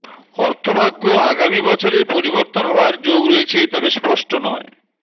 অর্থভাগ্য আগামী বছরে পরিবর্তন হওয়ার যোগ রয়েছে তবে স্পষ্ট নয়